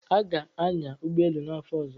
Aga-anya ụgbọ elu n'afọ ọzọ.